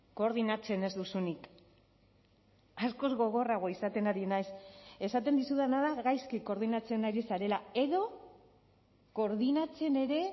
koordinatzen ez duzunik askoz gogorragoa izaten ari naiz esaten dizudana da gaizki koordinatzen ari zarela edo koordinatzen ere